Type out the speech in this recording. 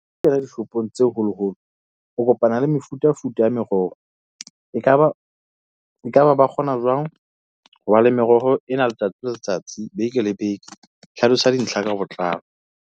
Ho kena dishopong tse holoholo, o kopana le mefutafuta ya meroho. Ekaba ekaba ba kgona jwang ho ba le meroho ena letsatsi le letsatsi beke le beke? Hlalosa dintlha ka botlalo.